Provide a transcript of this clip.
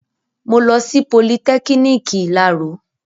Mo lọ sí politẹ́kiniki ìláro